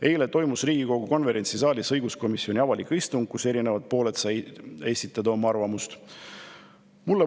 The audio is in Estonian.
Eile toimus Riigikogu konverentsisaalis õiguskomisjoni avalik istung, kus eri pooled said oma arvamusi esitada.